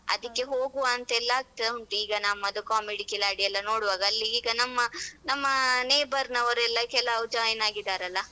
ಅದಕ್ಕೆ ಹೋಗುವ ಅಂತೆಲ್ಲ ಆಗ್ತ ಉಂಟು ಈಗ ನಮ್ಮದು comedy ಕಿಲಾಡಿಯೆಲ್ಲ ನೋಡುವಾಗ ಅಲ್ಲಿ ಈಗ ನಮ್ಮ ನಮ್ಮ neighbour ವರು ಎಲ್ಲ ಕೆಲವು join ಆಗಿದ್ದಾರಲ್ಲ.